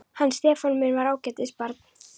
Hann Stefán minn var ágætis barn.